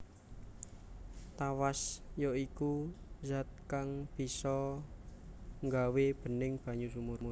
Tawas ya iku zat kang bisa nggawé bening banyu sumur